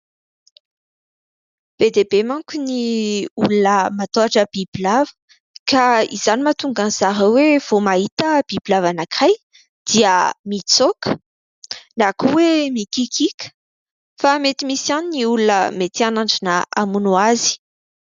Be dia be manko ny olona matahotra bibilava ka izany no mahatonga an'i zareo hoe vao mahita bibilava anankiray dia mitsoaka, na koa hoe mikiakiaka ; fa mety misy ihany ny olona mety hanandrana hamono azy.